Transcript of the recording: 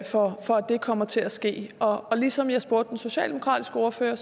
det kommer til at ske og ligesom jeg spurgte den socialdemokratiske ordfører